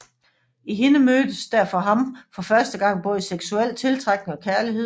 I hende mødtes der for ham for første gang både seksuel tiltrækning og kærlighed